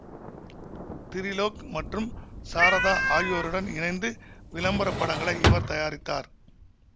திரிலோக் மற்றும் சாரதா ஆகியோருடன் இணைந்து விளம்பர படங்களை இவர் தயாரித்தார்